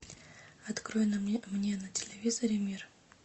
открой мне на телевизоре мир